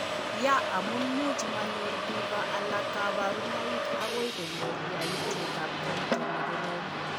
Ya amu much mayor biko alak kabarunoik akoi konyor yaitietab koito ne korom.